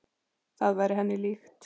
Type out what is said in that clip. Það væri henni líkt.